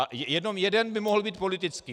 A jenom jeden by mohl být politický.